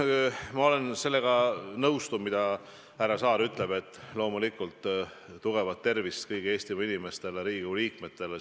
Nüüd, ma olen sellega nõus, mida härra Saar ütles: loomulikult tugevat tervist kõigile Eesti inimestele ja ka Riigikogu liikmetele!